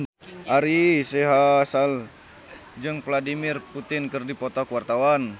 Ari Sihasale jeung Vladimir Putin keur dipoto ku wartawan